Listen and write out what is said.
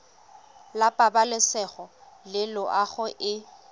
la pabalesego le loago e